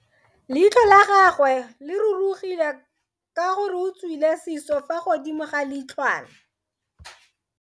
Leitlho la gagwe le rurugile ka gore o tswile siso fa godimo ga leitlhwana.